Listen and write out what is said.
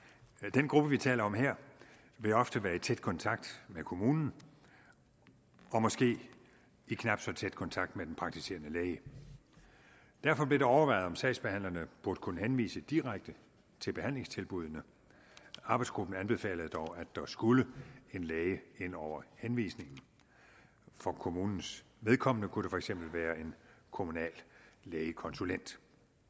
den gruppe vi taler om her vil ofte være i tæt kontakt med kommunen og måske i knap så tæt kontakt med den praktiserende læge derfor blev det overvejet om sagsbehandlerne burde kunne henvise direkte til behandlingstilbuddene arbejdsgruppen anbefalede dog at der skulle en læge ind over henvisningen for kommunens vedkommende kunne det for eksempel være en kommunal lægekonsulent